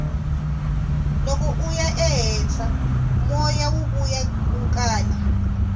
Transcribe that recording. loko uya ehenhla moya wuya wu kala